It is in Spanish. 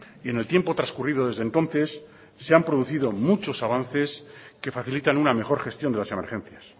y en el tiempo transcurrido desde entonces se han producido muchos avances que facilitan una mejor gestión de las emergencias